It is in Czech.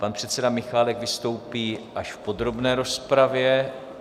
Pan předseda Michálek vystoupí až v podrobné rozpravě.